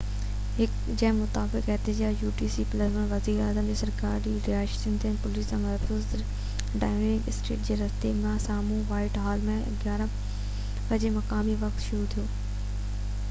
وزيراعظم جي سرڪاري رهائشگاه جي پوليس سان محفوظ ڊائوننگ اسٽريٽ جي رستي جي سامهو وائيٽ هال تي 11:00 مقامي وقت utc+1 جي مطابق احتجاج شروع ٿيو